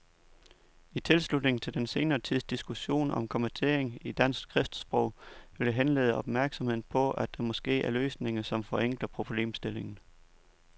I tilslutning til den senere tids diskussion om kommatering i dansk skriftsprog vil jeg henlede opmærksomheden på, at der måske er løsninger, som forenkler problemstillingen.